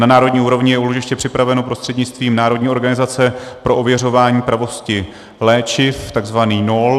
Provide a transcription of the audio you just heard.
Na národní úrovni je úložiště připraveno prostřednictvím Národní organizace pro ověřování pravosti léčiv, takzvaný NOOL.